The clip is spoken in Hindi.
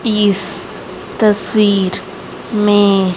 इस तस्वीर में--